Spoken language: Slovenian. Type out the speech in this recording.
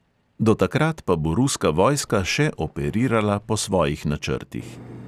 Do takrat pa bo ruska vojska še operirala po svojih načrtih.